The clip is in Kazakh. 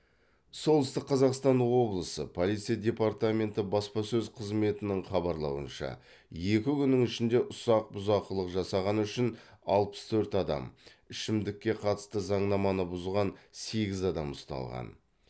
солтүстік қазақстан облысы полиция департаменті баспасөз қызметінің хабарлауынша екі күннің ішінде ұсақ бұзақылық жасағаны үшін алпыс төрт адам ішімдікке қатысты заңнаманы бұзған сегіз адам ұсталған